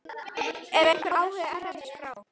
Er einhver áhugi erlendis frá?